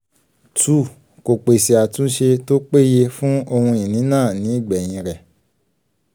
two kò pèsè àtúnṣe tó péye fún ohun-ìní náà ní ìgbẹ̀yìn rẹ̀